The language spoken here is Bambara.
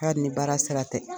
Hari ni baara sira tɛ.